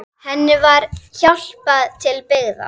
Henni var hjálpað til byggða.